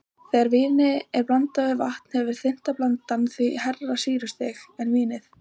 Þegar víni er blandað við vatn hefur þynnta blandan því hærra sýrustig en vínið.